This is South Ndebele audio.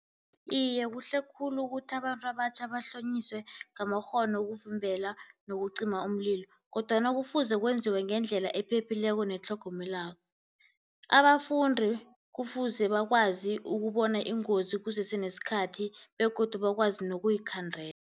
Iye, kuhle khulu ukuthi abantu abatjha bahlonyiswe ngamakghono wokuvimbela nokucima umlilo, kodwana kufuze kwenziwe ngendlela ephephileko netlhogomelako. Abafundi kufuze bakwazi ukubona ingozi kusese nesikhathi begodu bakwazi nokuyikhandela.